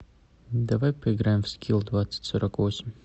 давай поиграем в скил двадцать сорок восемь